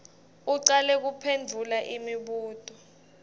ucale kuphendvula imibuto